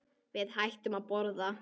Við hættum að borða.